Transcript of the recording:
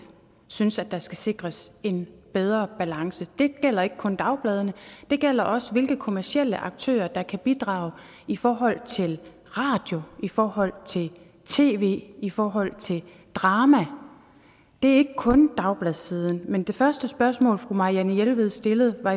synes at der skal sikres en bedre balance det gælder ikke kun dagbladene det gælder også hvilke kommercielle aktører der kan bidrage i forhold til radio i forhold til tv i forhold til drama det er ikke kun dagbladssiden men det første spørgsmål fru marianne jelved stillede var